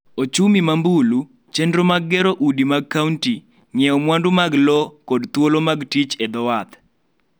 ochumi ma mbulu, chenro mag gero udi mag kaonti, ng�iewo mwandu mag lo kod thuolo mag tich e dho wath.